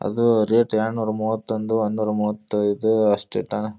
ಅದು ರೇಟ್ ಎರಡ್ನೂರ ಮೂವತ್ತೊಂದು ಒನ್ದನೂರ ಮೂವತೈದು ಅಷ್ಟು ಇಟ್ಯಾನ.